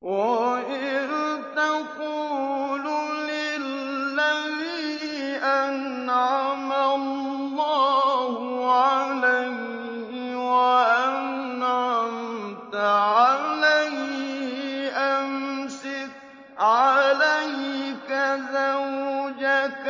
وَإِذْ تَقُولُ لِلَّذِي أَنْعَمَ اللَّهُ عَلَيْهِ وَأَنْعَمْتَ عَلَيْهِ أَمْسِكْ عَلَيْكَ زَوْجَكَ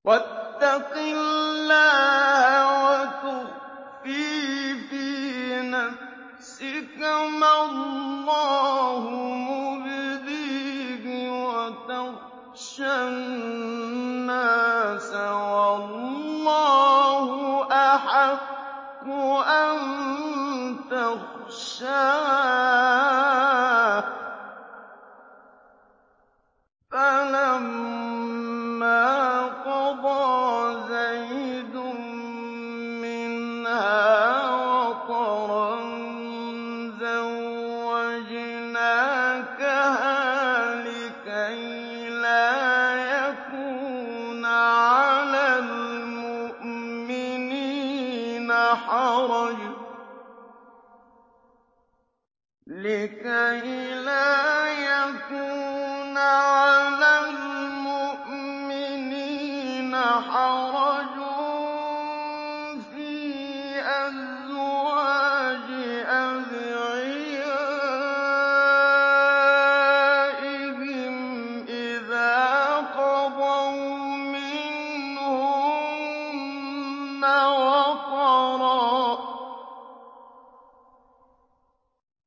وَاتَّقِ اللَّهَ وَتُخْفِي فِي نَفْسِكَ مَا اللَّهُ مُبْدِيهِ وَتَخْشَى النَّاسَ وَاللَّهُ أَحَقُّ أَن تَخْشَاهُ ۖ فَلَمَّا قَضَىٰ زَيْدٌ مِّنْهَا وَطَرًا زَوَّجْنَاكَهَا لِكَيْ لَا يَكُونَ عَلَى الْمُؤْمِنِينَ حَرَجٌ فِي أَزْوَاجِ أَدْعِيَائِهِمْ إِذَا قَضَوْا مِنْهُنَّ وَطَرًا ۚ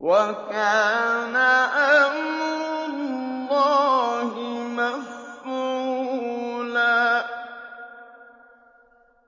وَكَانَ أَمْرُ اللَّهِ مَفْعُولًا